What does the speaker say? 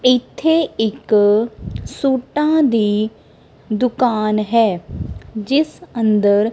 ਇਥੇ ਇੱਕ ਸੂਟਾਂ ਦੀ ਦੁਕਾਨ ਹੈ ਜਿਸ ਅੰਦਰ--